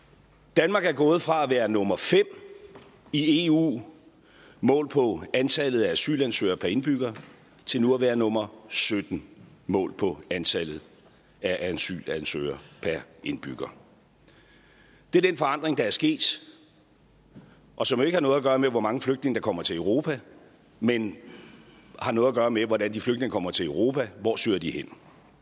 danmark er gået fra at være nummer fem i eu målt på antallet af asylansøgere per indbygger til nu at være nummer sytten målt på antallet af asylansøgere per indbygger det er den forandring der er sket og som ikke har noget gøre med hvor mange flygtninge der kommer til europa men har noget at gøre med hvordan de flygtninge kommer til europa hvor søger de hen